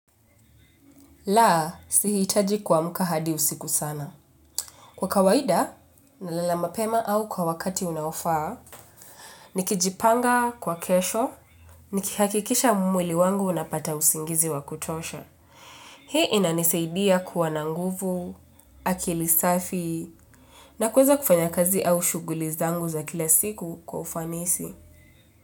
La, si hitaji kuamka hadi usiku sana. Kwa kawaida, nalala mapema au kwa wakati unaofaa, nikijipanga kwa kesho, nikihakikisha mwili wangu unapata usingizi wakutosha. Hii inanisaidia kuwa na nguvu, akili safi, na kuweza kufanya kazi au shughuli zangu za kila siku kwa ufanisi.